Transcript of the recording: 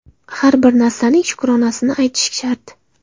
Har bir narsaning shukronasini aytish shart.